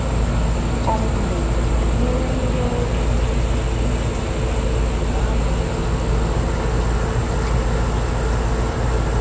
Ọzụzụ Ọzụzụ na -enyere ndị ọrụubi aka ịchọpụta ihe na-agba ama na ọrịa dị tupuu mmebi adị ukwuu.